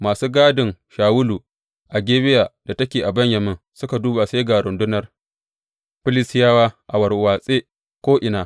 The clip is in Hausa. Masu gadin Shawulu a Gebiya da take a Benyamin suka duba sai ga rundunar Filistiyawa a warwatsewa ko’ina.